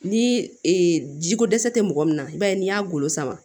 Ni jiko dɛsɛ tɛ mɔgɔ min na i b'a ye n'i y'a golo sama